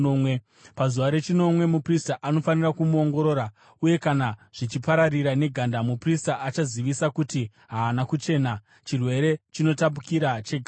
Pazuva rechinomwe muprista anofanira kumuongorora uye kana zvichipararira neganda, muprista achazivisa kuti haana kuchena; chirwere chinotapukira cheganda.